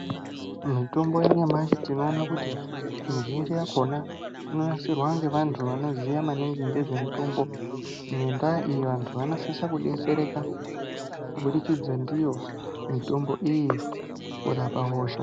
Mitombo yanyamashi tinoona kuti mizhinji yakhona inonasirwe ngevantu vanoziya maningi ngezvemitombo. Ngendaa iyi vantu vanosise kudetsereka kubudikidza ndiyo mitombo iyi, mukurapa hosha.